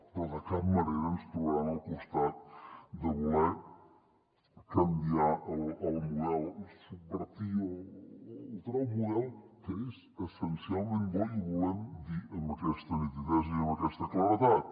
però de cap manera ens trobaran al costat de voler canviar el model subvertir o alterar un model que és essencialment bo i ho volem dir amb aquesta nitidesa i amb aquesta claredat